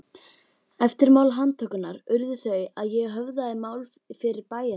Eftirmál handtökunnar urðu þau að ég höfðaði mál fyrir bæjarþingi